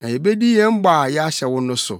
na yebedi yɛn bɔ a yɛahyɛ wo no so.